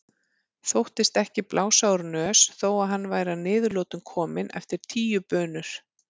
Þóttist ekki blása úr nös þó að hann væri að niðurlotum kominn eftir tíu bunur.